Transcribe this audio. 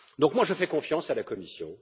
Donc moi je fais confiance à la Commission.